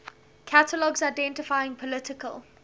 catalogs identifying political